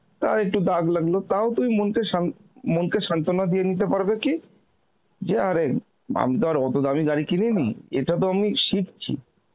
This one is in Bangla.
তা একটু দাগ লাগল তাও তুমি শান্ত~ মনকে শান্তনা দিয়ে নিতে পারবে কি যে আরে আমি তো আর অত দামি গাড়ি কিনিনি, এটা তো আমি শিখছি